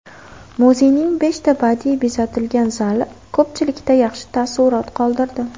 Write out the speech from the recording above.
Muzeyning beshta badiiy bezatilgan zali ko‘pchilikda yaxshi taassurot qoldirdi.